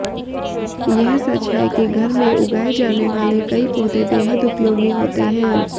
यह सच है कि घर में उगाए जाने वाले कई पौधे बेहद उपयोगी होते हैं